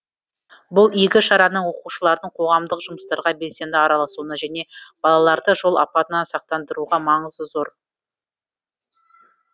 бұл игі шараның оқушылардың қоғамдық жұмыстарға белсенді араласуына және балаларды жол апатынан сақтандыруға маңызы зор